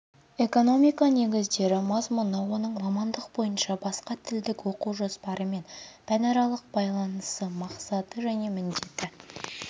экономика негіздері мазмұны оның мамандық бойынша басқа типтік оқу жоспарымен пәнаралық байланысы мақсаты және міндеті